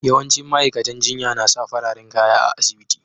Yawancin ma'aikatan jinya na sa fararen kaya a'asibiti.